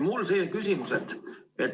Mul on selline küsimus.